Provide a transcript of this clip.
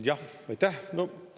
Jah, aitäh!